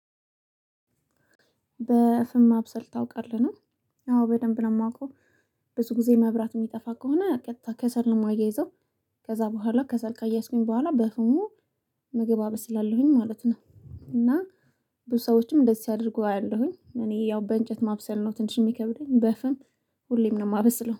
በፍም ማብሰል ታውቃለህ ነው? አዎ በደንብ ነው ማውቀው። ብዙ ጊዜ መብራት የሚጠፋ ከሆነ ቀጥታ ከሰል ነው ማያይዘው። ከዛ በኋላ ከሰል ካያያዝኩኝ በኋላ በፍሙ ምግብ አበስላለሁኝ ማለት ነው። እና ብዙ ሰዎችም እንደዚህ ሲያደርጉ አያለሁኝ እኔ ያው በእንጨት ማብሰል ነው ትንሽ ሚከብደኝ በፍም። ሁሌም ነው ማበስለው